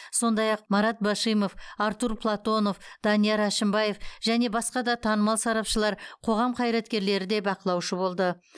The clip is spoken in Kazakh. сондай ақ марат башимов артур платонов данияр әшімбаев және басқа да танымал сарапшылар қоғам қайраткерлері де бақылаушы болды